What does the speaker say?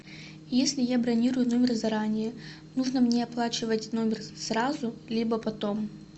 если я бронирую номер заранее нужно мне оплачивать номер сразу либо потом